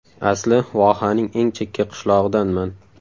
Asli vohaning eng chekka qishlog‘idanman.